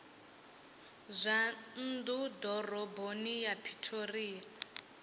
zwa nnḓa ḓoroboni ya pretoria